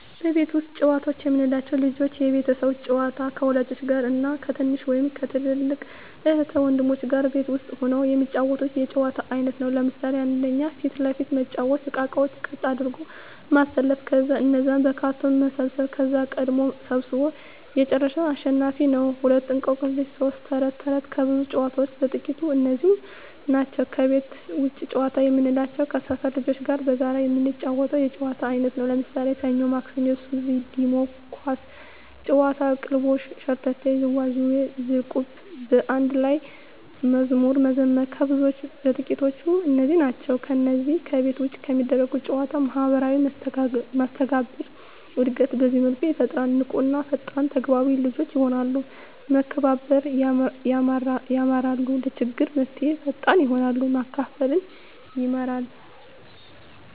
ቤት ውስጥ ጨዋታዎች የምንላቸው፦ ልጆች የቤት ውስጥ ጨዋታ ከወላጆች ጋር እና ከትንሽ ወይም ከትልቅ እህት ወንድሞቻቸው ጋር ቤት ውስጥ ሁነው የሚጫወቱት የጨዋታ አይነት ነው። ለምሣሌ 1. ፊት ለፊት መጫዎቻ እቃቃዎችን ቀጥ አድርጎ ማሠለፍ ከዛ እነዛን በካርቶን መሰብሠብ ከዛ ቀድሞ ሠብስቦ የጨረሠ አሸናፊ ነው፤ 2. እቆቅልሽ 3. ተረት ተረት ከብዙዎች ጨዋታዎች በጥቃቱ እነዚህ ናቸው። ከቤት ውጭ ጨዋታ የምንላቸው ከሠፈር ልጆች ጋር በጋራ የምንጫወተው የጨዋታ አይነት ነው። ለምሣሌ፦ ሠኞ ማክሠኞ፤ ሱዚ፤ ዲሞ፤ ኳስ ጨዋታ፤ ቅልልቦሽ፤ ሸርተቴ፤ ዥዋዥዌ፤ ዝልቁብ፤ በአንድ ላይ መዝሙር መዘመር ከብዙዎቹ በጥቂቱ እነዚህ ናቸው። ከነዚህ ከቤት ውጭ ከሚደረጉ ጨዎች ማህበራዊ መስተጋብር እድገት በዚህ መልኩ ይፈጠራል። ንቁ እና ፈጣን ተግባቢ ልጆች የሆናሉ፤ መከባበር የማራሉ፤ ለችግር መፍትሔ ፈጣሪ ይሆናሉ፤ ማካፈልን ይማራ፤